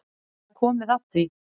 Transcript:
Það er komið að því.